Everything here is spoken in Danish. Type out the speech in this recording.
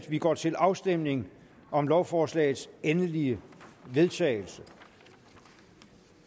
vi går til afstemning om lovforslagets endelige vedtagelse